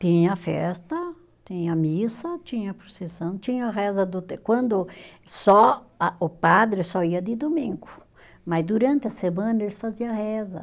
Tinha festa, tinha missa, tinha procissão, tinha reza do te, quando só, a o padre só ia de domingo, mas durante a semana eles fazia reza.